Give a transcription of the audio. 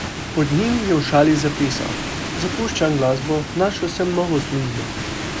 Pod njim je v šali zapisal: ''Zapuščam glasbo, našel sem novo službo.